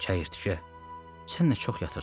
Çəyirtkə, sən nə çox yatırsan!